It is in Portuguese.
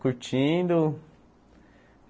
Curtindo.